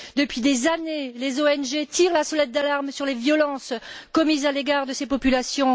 Depuis des années, les ONG tirent la sonnette d'alarme sur les violences commises à l'égard de ces populations.